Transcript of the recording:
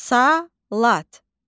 Salat.